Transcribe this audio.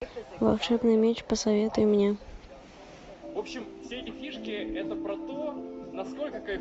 волшебный меч посоветуй мне